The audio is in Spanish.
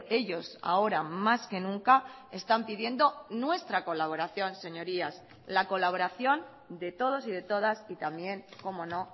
ellos ahora más que nunca están pidiendo nuestra colaboración señorías la colaboración de todos y de todas y también como no